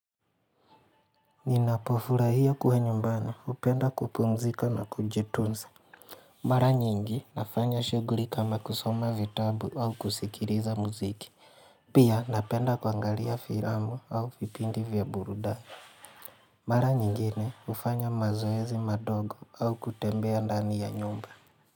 Ninapofurahia kuwa nyumbani, hupenda kupumzika na kujitunza Mara nyingi nafanya shuguli kama kusoma vitabu au kusikiliza muziki Pia napenda kuangalia filamu au vipindi vya burudani Mara nyingine hufanya mazoezi madogo au kutembea ndani ya nyumba.